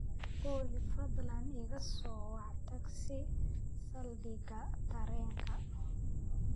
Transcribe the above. Olly, fadlan iga soo wac tagsi saldhigga tareenka